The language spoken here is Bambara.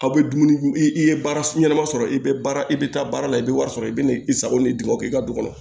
Aw bɛ dumuni i ye baara ɲɛnama sɔrɔ i bɛ baara i bɛ taa baara la i bɛ wari sɔrɔ i bɛ n'i sago ni duguma k'i ka du kɔnɔ